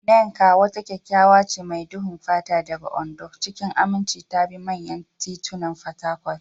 Nneka, wata kyakkyawa ce mai duhun fata daga Ondo, cikin aminci ta bi manyan titunan Fatakwal.